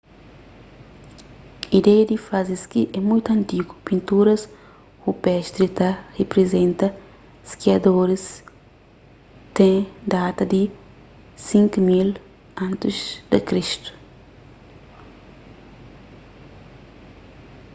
ideia di faze ski é mutu antigu pinturas rupestri ta riprizenta skiadoris ten data di 5000 a.c